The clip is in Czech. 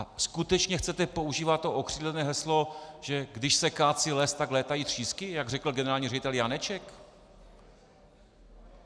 A skutečně chcete používat to okřídlené heslo, že když se kácí les, tak létají třísky, jak řekl generální ředitel Janeček?